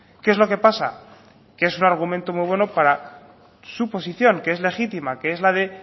qué es lo que pasa que es un argumento muy bueno para su posición que es legítima que es la de